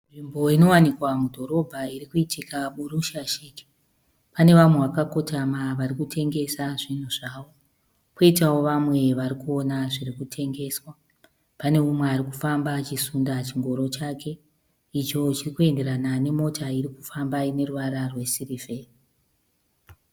Nzvimbo inowanika mudhorobha iri kuitika burushashike. Pane vamwe vakakotama vari kutengesa zvinhu zvavo poitawo vamwe vari kuona zviri kutengeswa. Pane umwe ari kufamba achisunda chingoro chake icho chiri kuenderana nemota iri kufamba ine ruvara rwesirivheri.